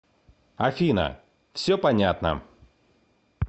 афина все понятно